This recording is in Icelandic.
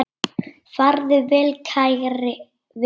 Farðu vel kæri vinur.